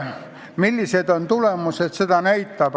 Millised on tulemused, seda näitab aeg.